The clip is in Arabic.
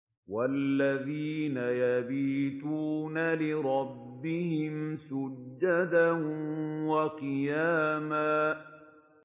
وَالَّذِينَ يَبِيتُونَ لِرَبِّهِمْ سُجَّدًا وَقِيَامًا